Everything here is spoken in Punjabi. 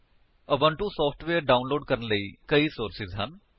ਉਬੁੰਟੂ ਸਾਫਟਵੇਯਰ ਡਾਉਨਲੋਡ ਕਰਨ ਲਈ ਕਈ ਸੋਰਸਜ਼ ਹਨ